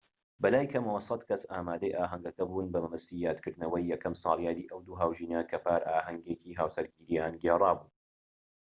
بەلای کەمەوە ١٠٠ کەس ئامادەی ئاهەنگەکە بوون، بە مەبەستی یادکردنەوەی یەکەم ساڵیادی ئەو دوو هاوژینە کە پار ئاهەنگی هاوسەرگیرییان گێڕابوو